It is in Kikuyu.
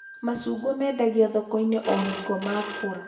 Macungwa mendagio thoko-inĩ o hingo makũra